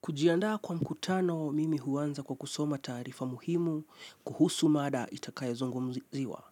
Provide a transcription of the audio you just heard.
Kujiandaa kwa mkutano, mimi huanza kwa kusoma taarifa muhimu, kuhusu mada itakayozungumziwa.